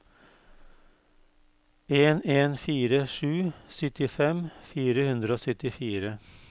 en en fire sju syttifem fire hundre og syttifire